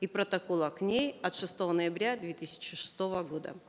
и протокола к ней от шестого ноября две тысячи шестого года